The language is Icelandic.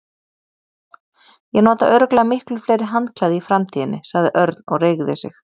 Ég nota örugglega miklu fleiri handklæði í framtíðinni sagði Örn og reigði sig.